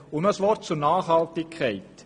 Noch ein Wort zur Nachhaltigkeit: